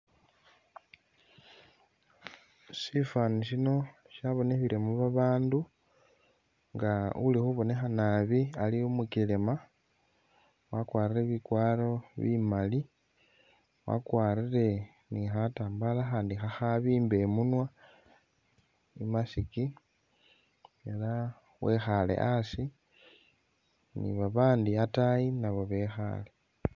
Shifani shino shabonekhilemo babandu nga uli khubonekha naabi Ali umukelema, wakwarile bikwaro bimaali, wakwarile ni khatambala khakhandi khabimba imunywa i'mask elah wekhale asi nibabandi ataayi naabo bekhale